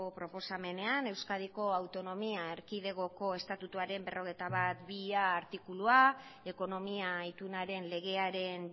proposamenean euskadiko autonomia erkidegoko estatutuaren berrogeita batbigarrena artikulua ekonomia itunaren legearen